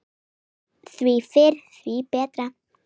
Því fyrr, því betra.